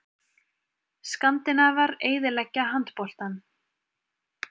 Skandinavar eyðileggja handboltann